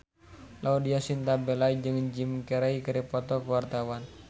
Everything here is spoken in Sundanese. Laudya Chintya Bella jeung Jim Carey keur dipoto ku wartawan